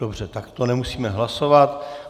Dobře, tak to nemusíme hlasovat.